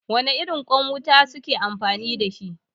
Wane irin ƙwan wuta kuke amfani da shi?